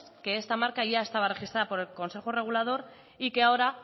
que esta marca ya estaba registra por el consejo regulador y que ahora